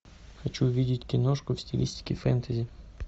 хочу увидеть киношку в стилистике фэнтези